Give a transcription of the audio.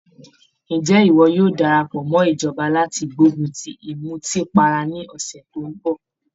Ǹjẹ́ ìwọ yóò darapọ̀ mọ́ ìjọba láti gbógun ti ìmùtípara ní ọ̀sẹ̀ tó ń bọ̀?